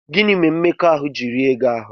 Gịnị mere mmekọahụ ji rie gị ahụ́?